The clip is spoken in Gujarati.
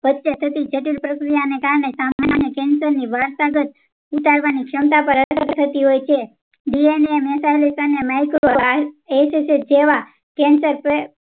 વચ્ચે થતી જટિલ પ્રક્રિયા ઓ ને કારણે સામાન્ય cancer ની વારસાગત ઉતારવાની ક્ષમતા પાર અસર થતી હોય છે DNAmetalik અને micro જેવા cancer